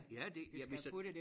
Ja det ja hvis der